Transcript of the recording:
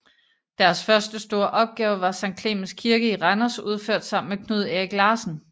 Deres første store opgave var Sankt Clemens Kirke i Randers udført sammen med Knud Erik Larsen